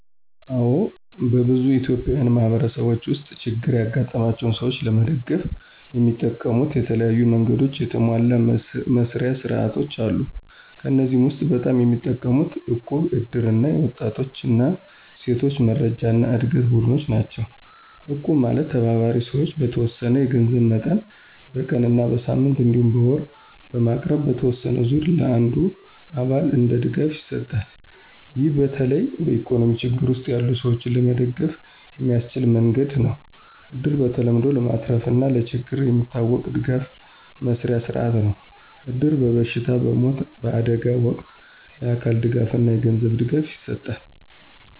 አዎን፣ በብዙ ኢትዮጵያዊ ማህበረሰቦች ውስጥ ችግር ያጋጠማቸውን ሰዎች ለመደገፍ የሚጠቀሙት የተለያዩ መንገዶችና የተሟሉ መስርያ ሥርዓቶች አሉ። ከእነዚህ ውስጥ በጣም የሚጠቀሙት እቁብ፣ እድር እና የወጣቶች እና ሴቶች መረጃና ዕድገት ቡድኖች ናቸው። እቁብ ማለት ተባባሪ ሰዎች በተወሰነ የገንዘብ መጠን በቀን እና በሳምንት እንዲሁም በወር በማቅረብ በተወሰነ ዙር ለአንዱ አባል እንደ ድጋፍ ይሰጣል። ይህ በተለይ በኢኮኖሚ ችግር ውስጥ ያሉ ሰዎች ለመደገፍ የሚያስችል መንገድ ነው። እድር በተለምዶ ለማትረፍና ለችግር የሚታወቅ ድጋፍ መስርያ ሥርዓት ነው። እድር በበሽታ፣ በሞት፣ በአደጋ ወቅት የአካል ድጋፍና የገንዘብ ድጋፍ ይሰጣል።